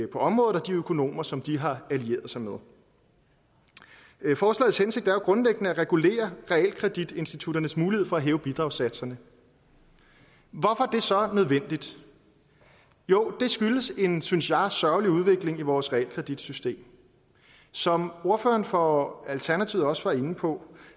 på området og de økonomer som de har alliereret sig med forslagets hensigt er jo grundlæggende at regulere realkreditinstitutternes mulighed for at hæve bidragssatserne hvorfor er det så nødvendigt jo det skyldes en synes jeg sørgelig udvikling i vores realkreditsystem som ordføreren for alternativet også var inde på